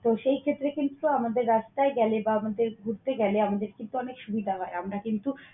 তো সেই ক্ষেত্রে কিন্তু আমাদের রাস্তায় গেলে বা আমাদের ঘুরতে গেলে আমাদের কিন্তু অনেক সুবিধা হয় আমরা কিন্তু